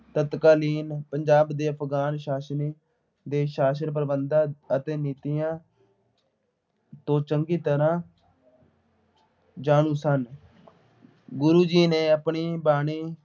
ਤਤਕਾਲੀਨ ਪੰਜਾਬ ਦੇ ਅਫ਼ਗਾਨ ਸ਼ਾਸਨ ਦੇ ਸ਼ਾਸਨ ਪ੍ਰਬੰਧਾਂ ਅਤੇ ਨੀਤੀਆਂ ਤੋਂ ਚੰਗੀ ਤਰ੍ਹਾਂ ਜਾਣੂ ਸਨ। ਗੁਰੂ ਜੀ ਨੇ ਆਪਣੀ ਬਾਣੀ